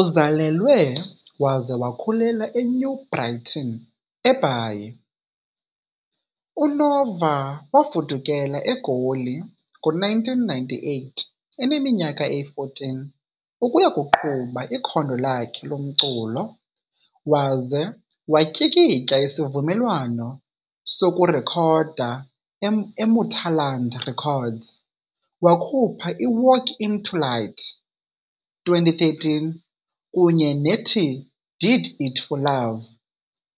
Uzalelwe waze wakhulela eNew Brighton, eBhayi, uNova wafudukela eGoli ngo-1998 eneminyaka eyi-14 ukuya kuqhuba ikhondo lakhe lomculo waze watyikitya isivumelwano sokurekhoda neMuthaland Records, wakhupha iWalk Into Light, 2013, kunye nethi Did It For Love,